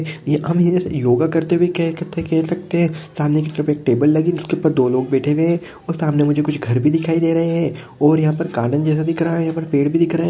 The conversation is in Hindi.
हम एक योग करते हुए कह सकते है सामने टेबल लगी हुई है जिसमे दो लोग बैठे हुए है सामने मुझे कुछ घर भी दिखाई दे रहे है और यहा कालन जैसा दिख रही है यहां पर पेड़ भी दिख रहे है।